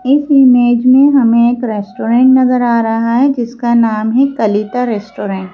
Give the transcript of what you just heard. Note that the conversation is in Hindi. इस ईमेज में हमें एक रेस्टोरेंट नजर आ रहा है जिसका नाम है कलीता रेस्टोरेंट ।